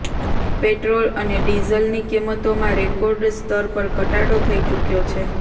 petrol અને ડીઝલની કિંમતોમાં રેકોર્ડ સ્તર પર ઘટાડો થઈ ચુક્યો છે